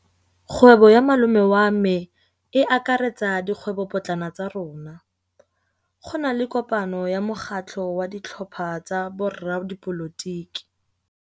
Kgwêbô ya malome wa me e akaretsa dikgwêbôpotlana tsa rona. Go na le kopanô ya mokgatlhô wa ditlhopha tsa boradipolotiki.